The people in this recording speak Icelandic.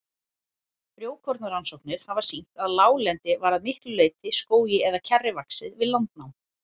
Frjókornarannsóknir hafa sýnt að láglendi var að miklu leyti skógi eða kjarri vaxið við landnám.